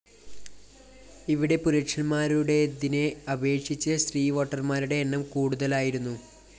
ഇവിടെ പുരുഷന്മാരുടേതിനെ അപേക്ഷിച്ച്‌ സ്ത്രീ വോട്ടര്‍മാരുടെ എണ്ണം കൂടുതലായിരുന്നു